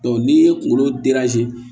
n'i ye kunkolo